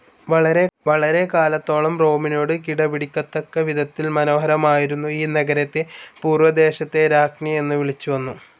വളരെകാലത്തോളം റോമിനോട് കിടപിടിക്കത്തക്കവിധത്തിൽ മനോഹരമായിരുന്ന ഈ നഗരത്തെ പൂർവദേശത്തെ രാജ്ഞ്ഞി എന്നു വിളിച്ചുവന്നു.